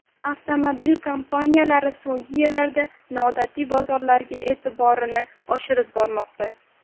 Avtomobil kompaniyalari so‘nggi yillarda noodatiy bozorlarga e’tiborini oshirib bormoqda.